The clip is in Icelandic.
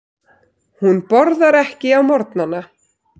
Hún borðar ekki á morgnana.